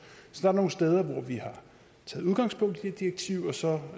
så der er nogle steder hvor vi har taget udgangspunkt i direktivet og så er